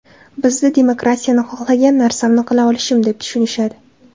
Bizda demokratiyani xohlagan narsamni qila olishim deb tushunishadi.